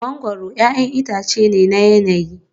Mangoro 'ya'yan itace ne na yanayi